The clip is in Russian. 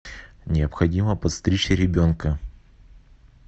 необходимо подстричь ребенка